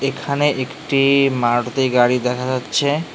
এখানে একটি মারুতি গাড়ি দেখা যাচ্ছে।